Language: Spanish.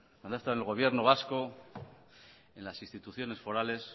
cuando ha estado en el gobierno vasco en las instituciones forales